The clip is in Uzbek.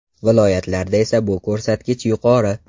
Viloyatlarda esa bu ko‘rsatkich yuqori.